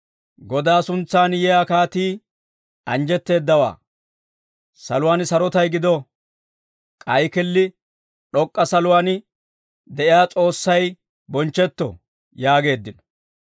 «Godaa suntsaan yiyaa kaatii, anjjetteeddawaa; saluwaan sarotay gido. K'ay killi d'ok'k'a saluwaan de'iyaa, S'oossay bonchchetto» yaageeddino.